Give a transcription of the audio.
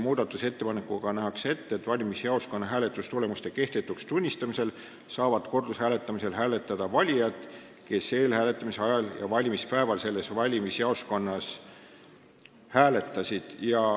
Nähakse ette, et valimisjaoskonna hääletustulemuste kehtetuks tunnistamisel saavad kordushääletamisel hääletada valijad, kes eelhääletamise ajal ja valimispäeval selles valimisjaoskonnas hääletasid.